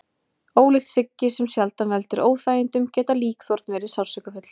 Ólíkt siggi sem sjaldan veldur óþægindum geta líkþorn verið sársaukafull.